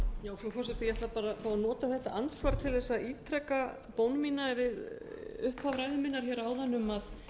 fá að nota þetta andsvar til þess að ítreka bón mína við upphaf ræðu minnar hér áðan um að